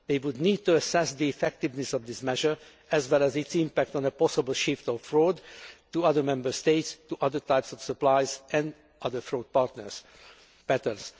They would need to assess the effectiveness of this measure, as well as its impact on a possible shift of fraud to other Member States, to other types of supplies and other fraud